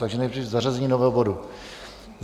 Takže nejdřív zařazení nového bodu.